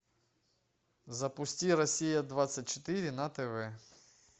запусти россия двадцать четыре на тв